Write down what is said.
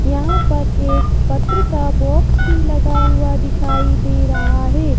यहां पर एक पत्र का बॉक्स भी लगा हुआ दिखाई दे रहा है।